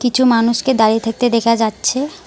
কিছু মানুষকে দাঁড়িয়ে থাকতে দেখা যাচ্ছে।